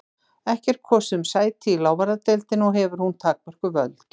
Ekki er kosið um sæti í lávarðadeildinni og hefur hún takmörkuð völd.